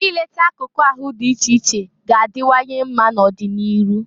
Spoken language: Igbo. I leta akụkụ ahụ dị iche iche ga-adiwanye mma n'ọdị n'iru.